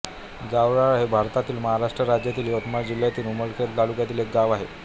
जावराळा हे भारतातील महाराष्ट्र राज्यातील यवतमाळ जिल्ह्यातील उमरखेड तालुक्यातील एक गाव आहे